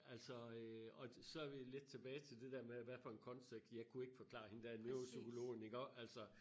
Altså øh og så vi lidt tilbage til det dér med hvad for en kontekst jeg kunne ikke forklare hende der neuropsykologen iggås altså